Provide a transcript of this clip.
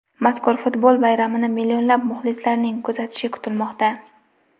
Mazkur futbol bayramini millionlab muxlislarning kuzatishi kutilmoqda.